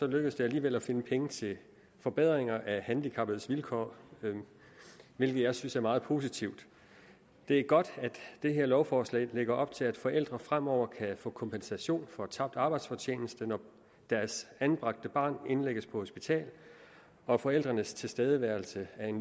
lykkedes det alligevel at finde penge til forbedringer af handicappedes vilkår hvilket jeg synes er meget positivt det er godt at det her lovforslag lægger op til at forældre fremover kan få kompensation for tabt arbejdsfortjeneste når deres anbragte barn indlægges på hospital og forældrenes tilstedeværelse er en